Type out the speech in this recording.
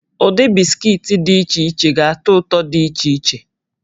Ụdị bisikiiti dị iche iche ga-atọ ụtọ dị iche iche